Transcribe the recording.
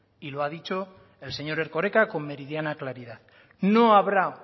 y lo ha dicho el señor erkoreka con meridiana claridad no habrá